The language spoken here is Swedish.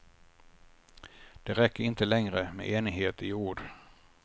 Det räcker inte längre med enighet i ord.